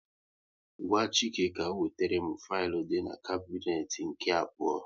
Gwa Chike ka ọ wetere m filu dị n'kabnet nke abụọ